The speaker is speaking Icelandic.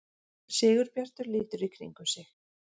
Sigurbjartur lítur í kringum sig.